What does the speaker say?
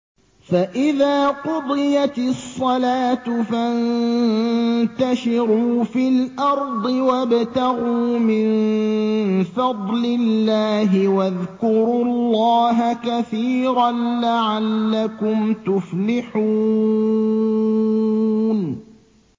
فَإِذَا قُضِيَتِ الصَّلَاةُ فَانتَشِرُوا فِي الْأَرْضِ وَابْتَغُوا مِن فَضْلِ اللَّهِ وَاذْكُرُوا اللَّهَ كَثِيرًا لَّعَلَّكُمْ تُفْلِحُونَ